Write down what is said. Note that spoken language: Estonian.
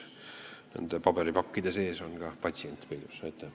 Nende paberipakkide kõrval tuleb pidada silmas ka patsientide õiguseid.